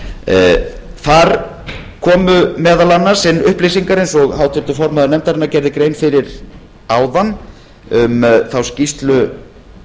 þar komu meðal annars inn upplýsingar eins og háttvirtur formaður nefndarinnar gerði grein fyrir áðan um þá skýrslu